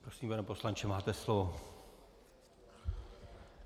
Prosím, pane poslanče, máte slovo.